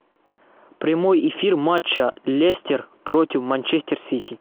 прямой эфир матча лестер против манчестер сити